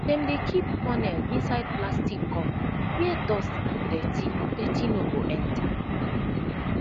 dem dey keep funnel inside plastic cover where dust and dirty dirty no go enter